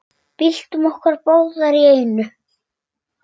Byltum okkur báðar í einu.